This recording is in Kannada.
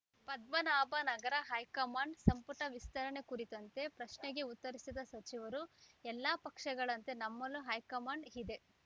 ಪದ್ಮನಾಭನಗರ ಹೈಕಮಾಂಡ್‌ ಸಂಪುಟ ವಿಸ್ತರಣೆ ಕುರಿತಂತೆ ಪ್ರಶ್ನೆಗೆ ಉತ್ತರಿಸಿದ ಸಚಿವರು ಎಲ್ಲ ಪಕ್ಷಗಳಂತೆ ನಮ್ಮಲ್ಲೂ ಹೈಕಮಾಂಡ್‌ ಇದೆ